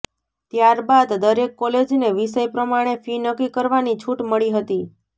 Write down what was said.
ત્યારબાદ દરેક કોલેજને વિષય પ્રમાણે ફી નક્કી કરવાની છૂટ મળી હતી